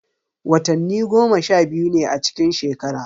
Watanni goma sha biyu ne a cikin shekara.